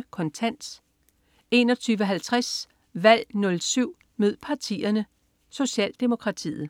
21.25 Kontant 21.50 Valg 07 mød partierne: Socialdemokratiet